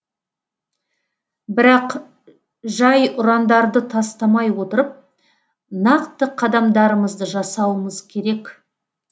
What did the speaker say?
бірақ жай ұрандарды тастамай отырып нақты қадамдарымызды жасауымыз керек